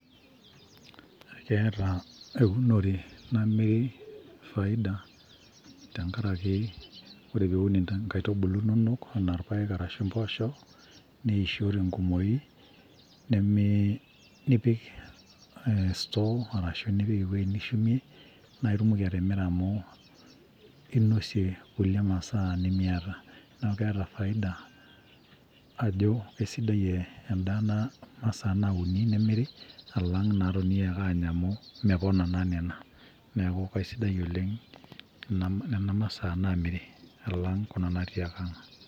Keeta eunore namiri faida tenkaraki ore piun inkaitubulu inonok anaa irpaek arashu mpoosho neisho tenkumoi nemeeei neipik store arashu nipik ewueji nishumie naitumoki atimira amu inosie ngulie masaa nimiata, neaku keeta faida ajo kesidai endaa nauni nemiri alang natonii ake anya amu mepona naa nena neaku kesidai oleng nena masaa naamiri alang nona natii aang.